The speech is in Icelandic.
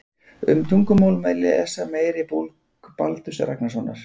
Um tungumál má lesa meira í bók Baldurs Ragnarssonar.